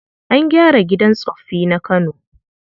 An gyara gidan tsoffi na Kano.